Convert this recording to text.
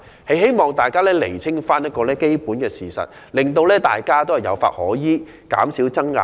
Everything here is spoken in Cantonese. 我希望大家釐清基本的事實，讓大家有法可依，減少爭拗。